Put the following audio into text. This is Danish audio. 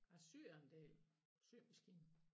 Jeg syer en del symaskinen